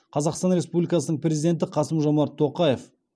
қазақстан республикасының президенті қасым жомарт тоқаев